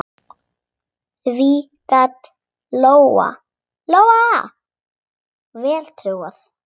Því gat Lóa-Lóa vel trúað.